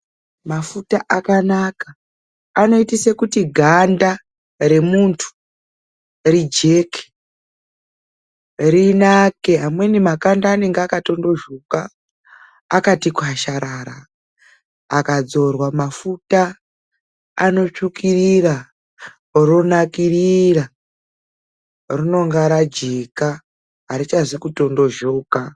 Mafuta akanaka aoita kuti ganda remundu rijeke ,rinake amweni makanda anenge tondozhoka akati kwazharara ,akadzorwa mafuta anotsvukirira ronakirira rinenge rajeka harichazi kutondozhoka.